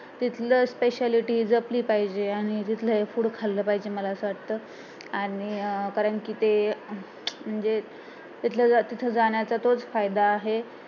तिथलं speciality जपली पाहिजे आणि तिथलं हे food खाल्लं पाहिजे मला असं वाटतं आणि अं कारण कि ते जे तिथं जाण्याचा तोच फायदा आहे